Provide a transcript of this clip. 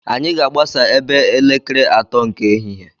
Anyị ga-agbasa ebe elekere atọ nke ehihie.